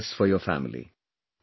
I wish the very best for your family